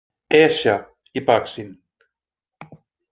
Esja í baksýn.